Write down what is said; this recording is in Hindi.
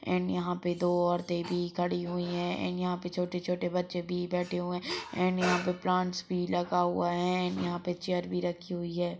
एंड यहाँ पे दो औरत भी खडी हुई है एंड यहाँ पे छोटे-छोटे बच्चे भी बैठे हुए है एंड यहाँ पे प्लांट्स भी लगा हुआ है एंड यहाँ पे चेयर भी रखी हुई हैं।